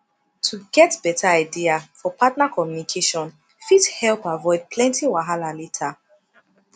to get beta idea for partner communication fit help avoid plenty wahala later